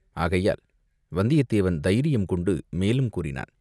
ஆகையால் வந்தியத்தேவன் தைரியம் கொண்டு மேலும் கூறினான்.